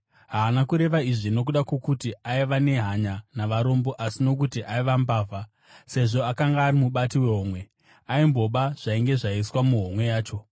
Haana kureva izvi nokuda kwokuti aiva nehanya navarombo, asi nokuti aiva mbavha; sezvo akanga ari mubati wehomwe, aimboba zvainge zvaiswa muhomwe yacho.